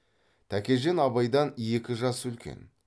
тәкежан абайдан екі жас үлкен